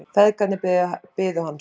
Feðgarnir biðu hans.